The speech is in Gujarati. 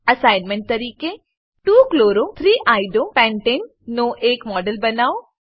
એસાઈનમેંટ તરીકે 2 chloro 3 iodo પેન્ટને નો એક મોડેલ બનાવો